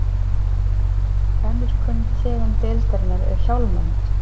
önnur kunn tegund deildarinnar er hjálmönd